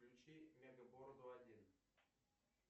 включи мега бороду один